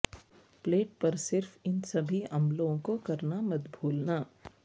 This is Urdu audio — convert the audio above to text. پلیٹ پر صرف ان سبھی عملوں کو کرنا مت بھولنا